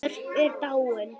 Björk er dáin.